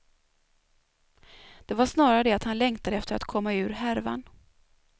Det var snarare det att han längtade efter att komma ur härvan.